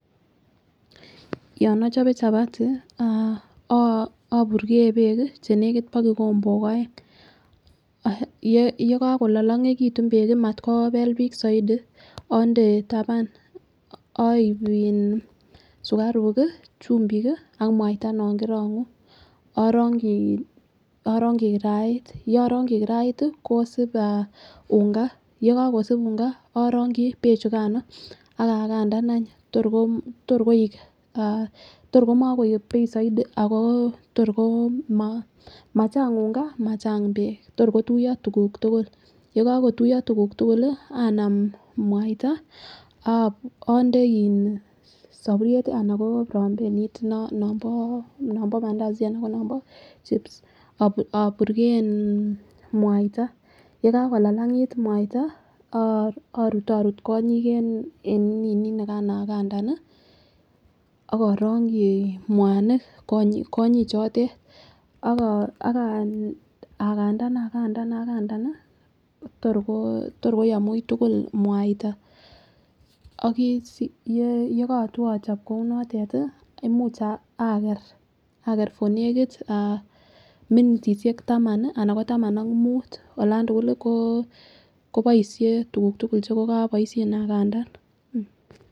Yon ochobe chapati ah oburkee beek kii chenekit bo kikombok oeng, yekokololongetu beek kii mat kobel bik soiti onde taban oib in sukaruk kii chumbik kii ak muaita non korongu orongi orongi kirait. Yorongi kirait tii kosib unga [ca]yekokosib unga irongi beek chukano ak Kansan any torko yorkoik ah torkomokoik bei soiti ako tor ko mochang unga machang beek tor kotuyo tukuk tukuk yekokotuyo tukuk tukul lii anan muaita onde in soburyet tii anan ko prambelit non nombo Mandazi anan ko nombo chips oburkeyen muaita yekakolalangit muaita oh orutorut kongiki en ninii nikan agandan nii ak orongi muanik kongik chotet ak agandan agandan agandan nii tor ko torkoyum wuitukul muaita. Ak yekotwo ochob kou notet tii imuch ah aker for nekit minitishek taman anan ko taman ak mut alan tukuk ko koboishen tukuk tukul chekokoboishen agamdan.